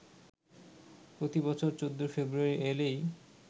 প্রতি বছর ১৪ ফেব্রুয়ারি এলেই